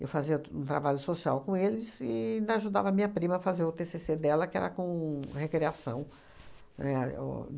Eu fazia um trabalho social com eles e ainda ajudava a minha prima a fazer o tê cê cê dela, que era com recriação, né, o